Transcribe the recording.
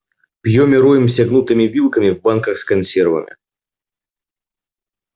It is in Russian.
пьём и роемся гнутыми вилками в банках с консервами